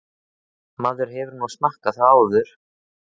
Maður hefur nú smakkað það áður.